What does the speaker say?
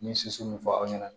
N ye soso min fɔ aw ɲɛna